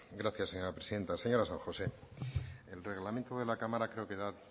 gracias señora presidenta señora san josé el reglamento de la cámara creo que da